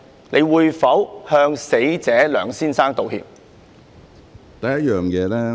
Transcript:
你會否向死者梁先生道歉？